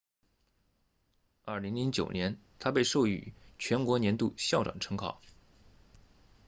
2009年她被授予全国年度校长称号